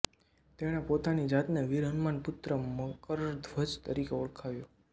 તેણે પોતાની જાતને વીર હનુમાન પુત્ર મકરધ્વજ તરીકે ઓળખાવ્યો